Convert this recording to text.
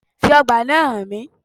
Fi ọgbà náà hàn mí